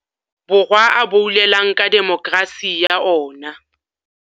Borwa a boulelang ka demokerasi ya ona.